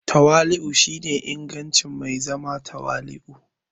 Tawali'u shine ingancin zama mai tawali'u.